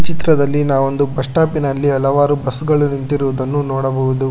ಚಿತ್ರದಲ್ಲಿ ಆ ಒಂದು ಬಸ್ ಸ್ಟಾಪ್ ಇನಲ್ಲಿ ಹಲವಾರು ಬಸ್ ಗಳು ನಿಂತಿರುವುದನ್ನು ನೋಡಬಹುದು.